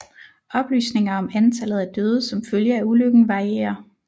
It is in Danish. Oplysninger om antallet af døde som følge af ulykken varierer